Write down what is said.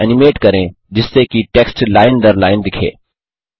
text को animate करें जिससे कि टेक्स्ट लाइन दर लाइन दिखे